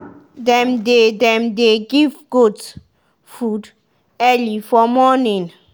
dem dey dem dey give goat food early for morning.